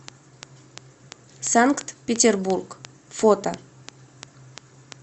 санкт петербург фото